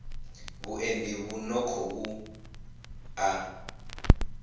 vhuendi vhu no khou ḓa